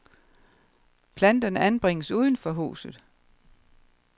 Planterne anbringes uden for huset.